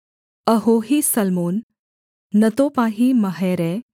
अहोही सल्मोन नतोपाही महरै